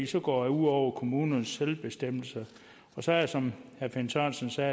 så går det ud over kommunernes selvbestemmelse og så er det som herre finn sørensen sagde